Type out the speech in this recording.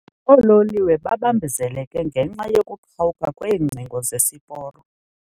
Oololiwe babambezeleke ngenxa yokuqhawuka kweengcingo zesiporo.